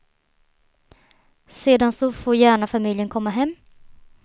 Sedan så får gärna familjen komma hem.